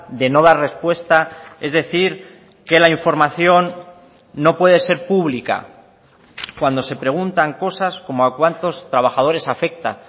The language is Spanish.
de no dar respuesta es decir que la información no puede ser pública cuando se preguntan cosas como a cuántos trabajadores afecta